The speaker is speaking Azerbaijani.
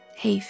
Heyf.